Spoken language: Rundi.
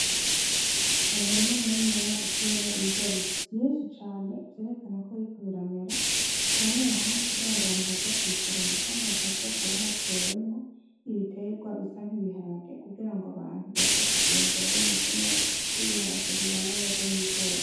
Umurima muniniya utewemwo ibigori vyinshi cane vyerekana ko biriko biramera hamwe hamwe kugira ngo abantu baza kubisoroma hagati hakaba hatewemo nk'ibiterwa bisa nk'ibiharage kugira ngo abantu baze kuvyembura bimeze neza kuko ibiharage bibana neza n'ibigori.